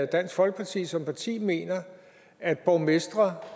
dansk folkeparti som parti mener at borgmestre